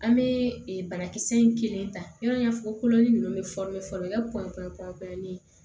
An bɛ banakisɛ in kelen ta yan kololen ninnu bɛ fɔlɔ yali kɔnkɔli